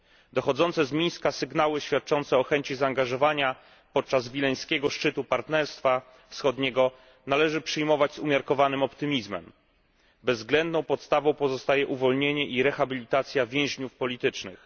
Dochodzące z Mińska sygnały, świadczące o chęci zaangażowania podczas wileńskiego szczytu Partnerstwa Wschodniego, należy przyjmować z umiarkowanym optymizmem. Bezwzględną podstawą pozostaje uwolnienie i rehabilitacja więźniów politycznych.